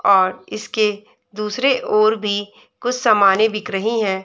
और इसके दूसरे ओर भी कुछ सामाने बिक रही हैं।